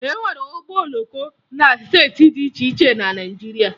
E nwere ụgbọ oloko na steeti dị iche iche na Naịjirịa